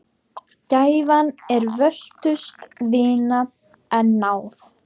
Gæfan er völtust vina, en náð